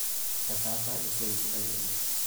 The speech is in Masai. Etaasa esiai sidai oleng'.